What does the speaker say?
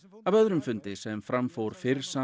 af öðrum fundi sem fram fór fyrr sama